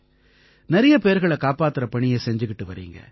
நிறைய பேர்களைக் காப்பாத்தற பணியை செஞ்சுக்கிட்டு வர்றீங்க